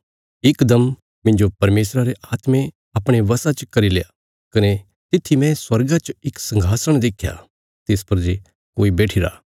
इकदम मिन्जो परमेशरा रे आत्मे अपणे वशा च करील्या कने तित्थी मैं स्वर्गा च इक संघासण देख्या तिस पर जे कोई बैठिरा